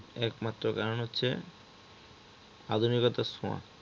তাঁর একমাত্র কারণ হচ্ছে আধুনিকতার ছোঁয়া